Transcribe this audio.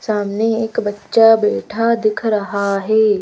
सामने एक बच्चा बैठा दिख रहा है।